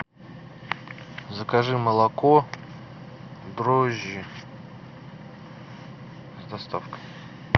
закажи молоко дрожжи с доставкой